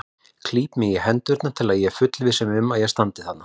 Klíp mig í hendurnar til að fullvissa mig um að ég standi þarna.